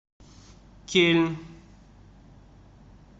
кельн